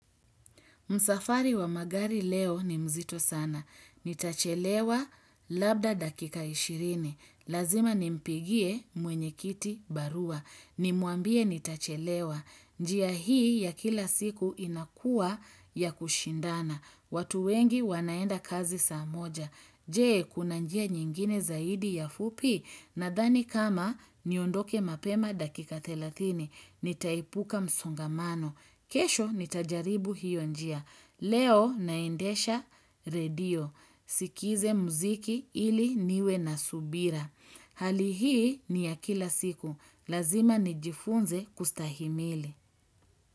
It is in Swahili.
Msafari wa magari leo ni mzito sana. Nitachelewa labda dakika ishirini. Lazima nimpigie mwenye kiti barua. Nimuambie nitachelewa. Njia hii ya kila siku inakua ya kushindana. Watu wengi wanaenda kazi saa moja. Jee kuna njia nyingine zaidi ya fupi. Nadhani kama niondoke mapema dakika thelathini. Nitaipuka msongamano. Kesho ni tajaribu hiyo njia. Leo naendesha radio. Sikize muziki ili niwe na subira. Hali hii ni ya kila siku. Lazima nijifunze kustahimili.